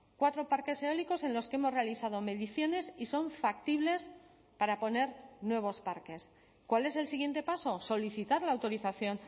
cuatro parques eólicos en los que hemos realizado mediciones y son factibles para poner nuevos parques cuál es el siguiente paso solicitar la autorización